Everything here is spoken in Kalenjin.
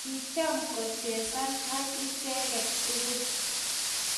kicham kochesan ak icheget tugul